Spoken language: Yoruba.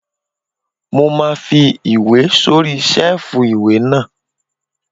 Mo máa fi ìwé sórí sẹ́ẹ̀fù ìwé náà